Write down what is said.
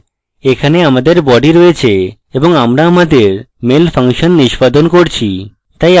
এখানে আমাদের body রয়েছে এবং আমরা আমাদের mail ফাংশন নিষ্পাদন করছি